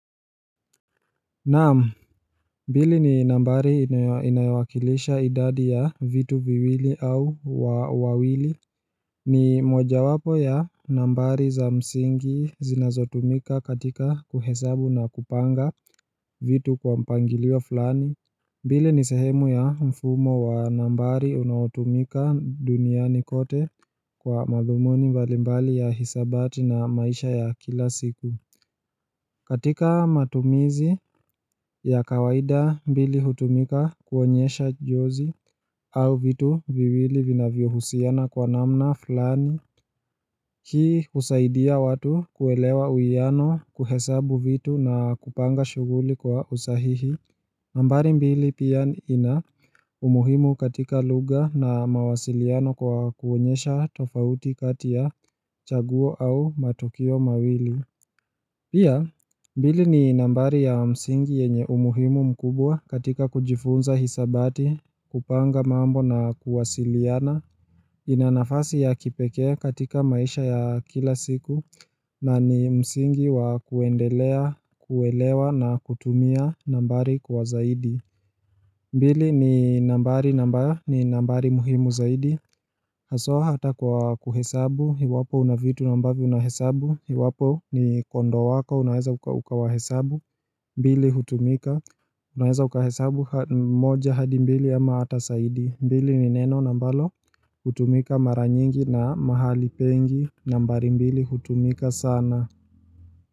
Naam mbili ni nambari inayowakilisha idadi ya vitu viwili au wawili ni moja wapo ya nambari za msingi zinazotumika katika kuhesabu na kupanga vitu kwa mpangilio fulani mbili ni sehemu ya mfumo wa nambari unaotumika duniani kote kwa madhumuni mbalimbali ya hisabati na maisha ya kila siku katika matumizi ya kawaida mbili hutumika kuonyesha jozi au vitu viwili vinavyohusiana kwa namna flani hii husaidia watu kuelewa uwiano kuhesabu vitu na kupanga shughuli kwa usahihi nambari mbili pia ina umuhimu katika lugha na mawasiliano kwa kuonyesha tofauti katia chaguo au matukio mawili Pia, mbili ni nambari ya msingi yenye umuhimu mkubwa katika kujifunza hisabati, kupanga mambo na kuwasiliana, ina nafasi ya kipekee katika maisha ya kila siku, na ni msingi wa kuendelea, kuelewa na kutumia nambari kwa zaidi. Mbili ni nambari na ambayo ni nambari muhimu zaidi Haswa hata kwa kuhesabu iwapo una vitu na ambavyo unahesabu iwapo ni kondoo wako unaeza ukawahesabu mbili hutumika unaeza ukahesabu moja hadi mbili ama hata zaidi mbili ni neno na ambalo hutumika mara nyingi na mahali pengi nambari mbili hutumika sana.